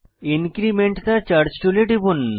increment the charge টুলে টিপুন